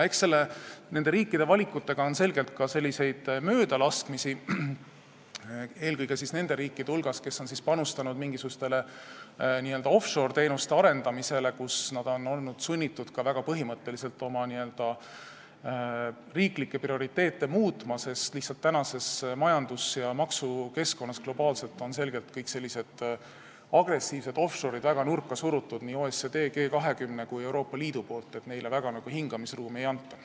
Eks nende valikutega juhtub ka möödalaskmisi, eelkõige on seda juhtunud nende riikide hulgas, mis on panustanud mingisuguste n-ö offshore-teenuste arendamisele ja on olnud sunnitud väga põhimõtteliselt oma riiklikke prioriteete muutma, sest praeguses globaalses majandus- ja maksukeskkonnas on lihtsalt kõik agressiivsed offshore'id väga nurka surutud nii OECD, G20 kui ka Euroopa Liidu poolt, neile väga hingamisruumi ei anta.